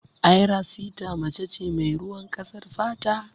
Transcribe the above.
Ayra sita mace ce mai ruwan ƙasar fata.